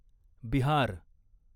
Bihar